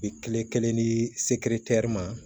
Bi kile kelen ni seere tɛ ma